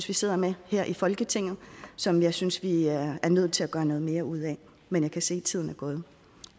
vi sidder med her i folketinget og som jeg synes vi er nødt til at gøre noget mere ud af men jeg kan se tiden er gået